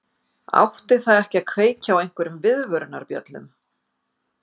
Átti það ekki að kveikja á einhverjum viðvörunarbjöllum?